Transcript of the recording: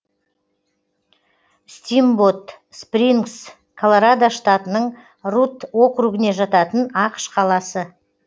стимбот спрингс колорадо штатының рутт округіне жататын ақш қаласы